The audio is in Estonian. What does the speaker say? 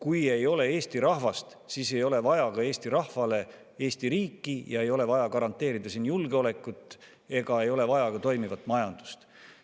Kui ei ole Eesti rahvast, siis ei ole vaja ka Eesti rahvale Eesti riiki, siis ei ole vaja garanteerida siin julgeolekut ega ole vaja ka toimivat majandust.